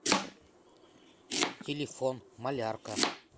телефон малярка